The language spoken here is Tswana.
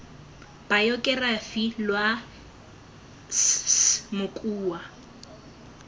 bayokerafi lwa s s mokua